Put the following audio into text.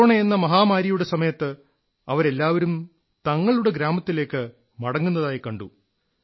കൊറോണയെന്ന മഹാമാരിയുടെ സമയത്ത് അവരെല്ലാവരും തങ്ങളുടെ ഗ്രാമത്തിലേക്ക് മടങ്ങുന്നതായി കണ്ടു